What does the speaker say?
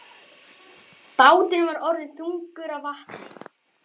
Báturinn var orðinn þungur af vatni.